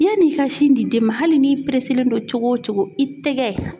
Yann'i ka sin di den ma hali n'i pereselen do cogo o cogo i tɛgɛ